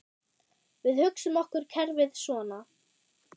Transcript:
Við hugsum okkur kerfið svona